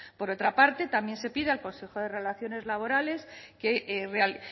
por otra parte también se pide al consejo de relaciones laborales